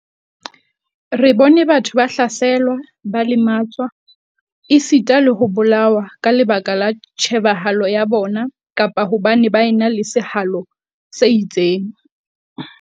Re bone batho ba hlaselwa, ba lematswa, esita le ho bolawa ka lebaka la tjhebahalo ya bona kapa hobane baenale sehalo se itseng.